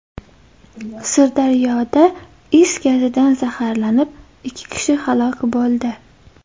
Sirdaryoda is gazidan zaharlanib, ikki kishi halok bo‘ldi.